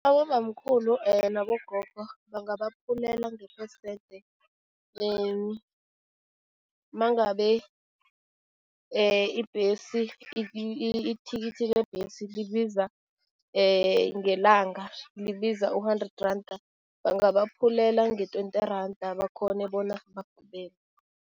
Abobamkhulu nabogogo bangabaphulela ngephesente mangabe ibhesi ithikithi lebhesi libiza ngelanga, libiza u-hundred randa, bangabaphulela nge-twenty randa bakghone bona